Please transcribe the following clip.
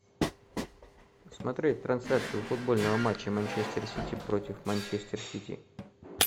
смотреть трансляцию футбольного матча манчестер сити против манчестер сити